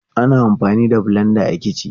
Ana amfani da blenda a kici.